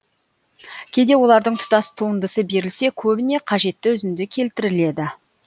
кейде олардың тұтас туындысы берілсе көбіне қажетті үзінді келтіріледі